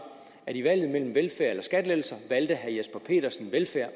at i valget mellem velfærd eller skattelettelser valgte herre jesper petersen velfærd